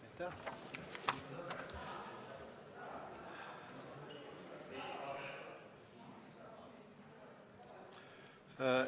Aitäh!